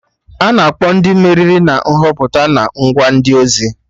Ana akpọ Ndị meriri na Nhọpụta na ngwa ndị ozi